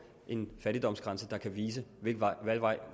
en fattigdomsgrænse der kan vise hvilken vej